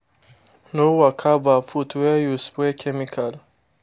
no waka barefoot where you spray chemical.